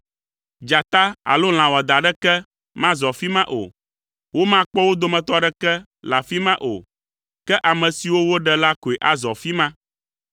Dzata alo lã wɔadã aɖeke mazɔ afi ma o. Womakpɔ wo dometɔ aɖeke le afi ma o. Ke ame siwo woɖe la koe azɔ afi ma.